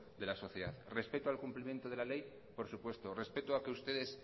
de la sociedad respeto al cumplimiento de la ley por supuesto respeto a que ustedes